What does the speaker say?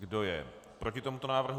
Kdo je proti tomuto návrhu?